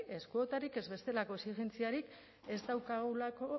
ez kuotarik ez bestelako exijentziarik ez daukagulako